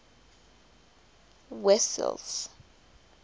wessels